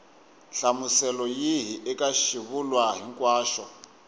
nhlamuselo yihi eka xivulwa hinkwaxo